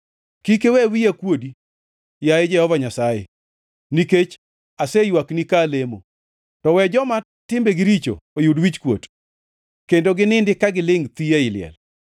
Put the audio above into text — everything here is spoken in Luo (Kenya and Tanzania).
Kik iwe wiya kuodi, yaye Jehova Nyasaye, nikech aseywakni ka alemo; to we joma timbegi richo oyud wichkuot kendo ginindi ka gilingʼ thi ei liel.